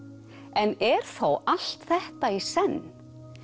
en er þó allt þetta í senn